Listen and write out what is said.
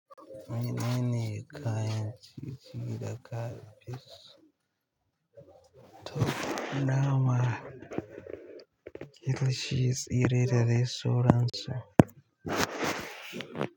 Menene kayan ci gida kafis to dama? Gashi, tsire dadai sauransu.